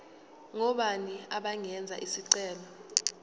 ngobani abangenza isicelo